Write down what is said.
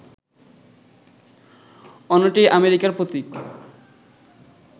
অন্যটি আমেরিকার প্রতীক